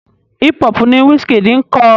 Hip hop ni Wizkid ń kọ.